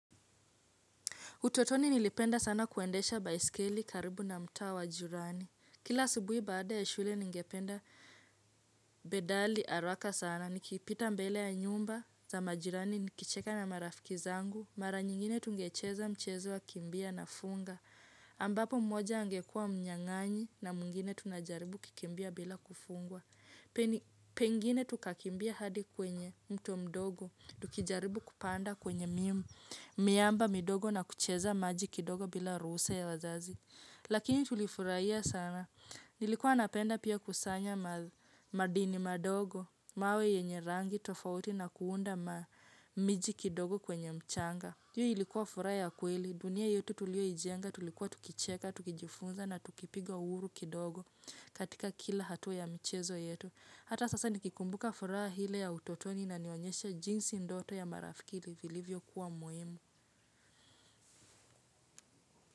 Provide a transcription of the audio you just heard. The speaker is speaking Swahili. Utotoni nilipenda sana kuendesha baiskeli karibu na mtaa wa jirani. Kila asubuhi baada ya shule ningependa pedali haraka sana. Nikipita mbele ya nyumba za majirani nikicheka na marafiki zangu. Mara nyingine tungecheza mchezo wa kimbia na funga. Ambapo mmoja angekua mnyanganyi na mwngine tunajaribu kukimbia bila kufungwa. Pengine tukakimbia hadi kwenye mto mdogo. Tukijaribu kupanda kwenye miimu. Miamba midogo na kucheza maji kidogo bila ruhusa ya wazazi. Lakini tulifurahia sana. Nilikuwa napenda pia kusanya madini madogo. Mawe yenye rangi tofauti na kuunda miji kidogo kwenye mchana. Hio ilikuwa furaha ya kweli. Dunia yetu tulioijenga tulikuwa tukicheka, tukijifunza na tukipiga uhuru kidogo, katika kila hatua ya michezo yetu. Hata sasa nikikumbuka furaha ile ya utotoni inanionyesha jinsi ndoto ya marafiki ilivyo kuwa muhimu.